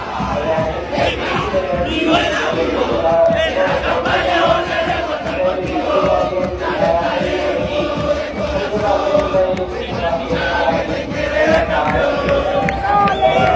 നമ്മടെ രാജ്യം പ്രത്യേകിച്ച് പരിപാടിയിൽ ഈ ലോകകപ്പിൽ ഇല്ല എന്ന് ഉള്ളപ്പോൾ തന്നെ എന്തായാലും മറ്റു രാജ്യങ്ങൾക്ക് ആരാധകർ കൂടുകയും ചെയ്യും അതിന്റെ ഭാഗായിട്ട് എന്തായാലും വാക്കേറ്റങ്ങളാണെങ്കിലും എല്ലാം കാണാൻ സാധിക്കുമല്ലോ. അത് എന്തായാലും ഉണ്ട്.